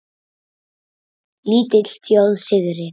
Lítil þjóð syrgir.